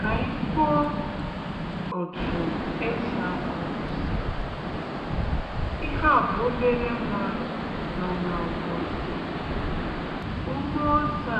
Kà ànyị kwụọ òtù e sì akọ osè. Ihe à bụ obere nwa nọ n’ugbo osè. Ụgbọ ọsè